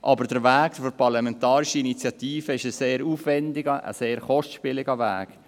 Aber der Weg der parlamentarischen Initiative ist ein sehr aufwändiger und kostspieliger Weg: